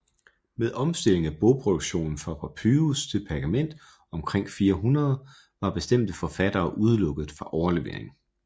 Med omstilling af bogproduktionen fra papyrus til pergament omkring 400 var bestemte forfattere udelukket fra overlevering